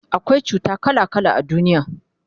akwai cuta kala kala a duniya